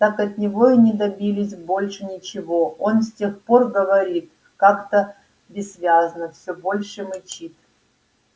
так от него и не добились больше ничего он с тех пор говорит как-то бессвязно всё больше мычит